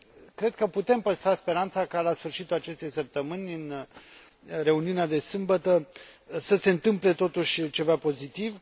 Cred că putem păstra speranța ca, la sfârșitul acestei săptămâni, în reuniunea de sâmbătă, să se întâmple totuși ceva pozitiv.